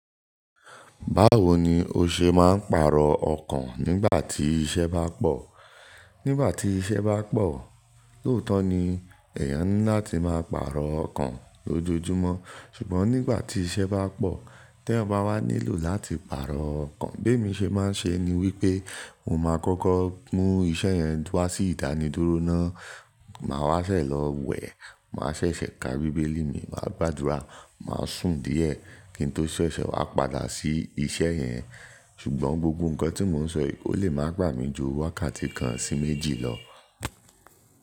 Báwo ni o ṣe máa ń pàrọ̀ ọkàn nígbà tí iṣẹ́ bá pọ̀? Nígbà tí iṣẹ́ bá pọ̀, lóòótọ́ ni èèyàn ńi lá ti máa pàrọ̀ ọkàn lójoojúmọ́. Ṣùgbọ́n nígbà tí iṣẹ́ bá pọ̀, tí ẹ̀yan ba wá nílò láti pàrọ̀ ọkàn, bí èmi ṣe máa ń ṣe ni wípé mo máa kọ́kọ́ mú iṣẹ́ yẹn wá sí ìdanidúró ná. Máa wá ṣẹ̀ lọ wẹ̀, máa ṣẹ̀ṣẹ̀ ka bíbélì mi, máa gbàdúrà, máa sùn díẹ̀ kí n tó ṣẹ̀ṣẹ̀ wá padà sí iṣẹ́ yẹn. Ṣùgbọ́n gbogbo nǹkan tí mò ń sọ yìí ó lè máa gbà mí ju wákàtí kan sí méjì lọ.